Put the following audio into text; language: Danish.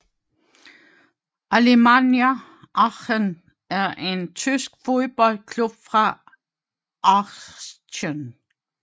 Alemannia Aachen er en tysk fodboldklub fra Aachen